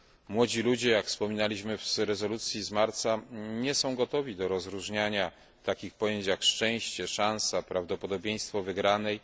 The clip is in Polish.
Młodzi ludzie, jak wspominaliśmy w rezolucji z marca, nie są gotowi do rozróżniania takich pojęć jak szczęście, szansa, prawdopodobieństwo wygranej.